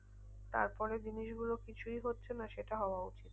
তারপরে জিনিসগুলো কিছুই হচ্ছে না সেটা হওয়া উচিত